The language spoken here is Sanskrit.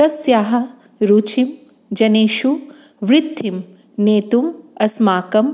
तस्याः रुचिम् जनेषु वृद्धिम् नेतुम् अस्माकम्